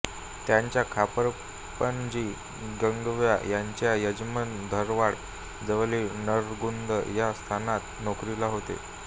त्यांच्या खापरपणजी गंगव्वा यांचे यजमान धारवाड जवळील नरगुंद या संस्थानात नोकरीला होते